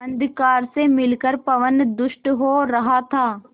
अंधकार से मिलकर पवन दुष्ट हो रहा था